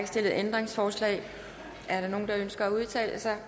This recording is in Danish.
stillet ændringsforslag er der nogen der ønsker at udtale sig